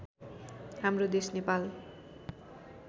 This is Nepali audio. हाम्रो देश नेपाल